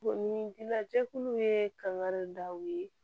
Bon ni ji la jɛkulu ye kangari daw ye